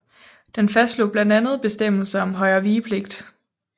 Den fastslog blandt andet bestemmelser om højrevigepligt